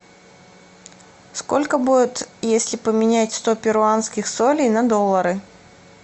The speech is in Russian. сколько будет если поменять сто перуанских солей на доллары